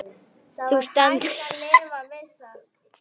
Þú stendur þig vel, Lilja!